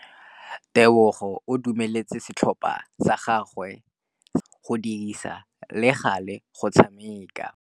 Tebogô o dumeletse setlhopha sa gagwe sa rakabi go dirisa le galê go tshameka.